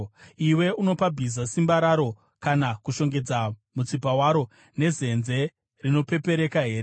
“Iwe unopa bhiza simba raro kana kushongedza mutsipa waro nezenze rinopepereka here?